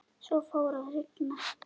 Svo fór að rigna.